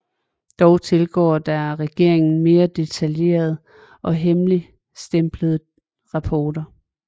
Dog tilgår der regeringen mere detaljerede og hemmeligstemplede rapporter